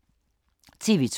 TV 2